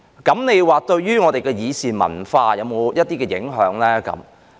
這樣對於我們的議事文化會否有影響？